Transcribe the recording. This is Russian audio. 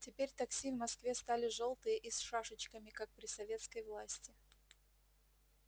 теперь такси в москве стали жёлтые и с шашечками как при советской власти